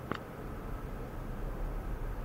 вруби пост нуар